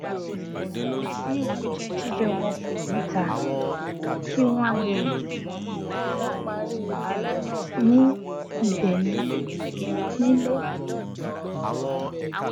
wọn dín oúnjẹ jíjẹ wọn níta kù kí wọn lè ní ìbénìí nílé